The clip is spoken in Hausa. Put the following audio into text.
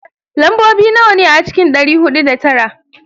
Lambobi nawa ne a cikin dari hudu da tara?